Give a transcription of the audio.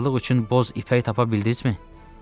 Paltarlıq üçün boz ipək tapa bildinizmi?